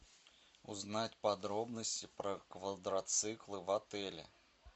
узнать подробности про квадроциклы в отеле